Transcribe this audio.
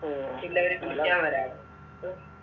പിന്നവര്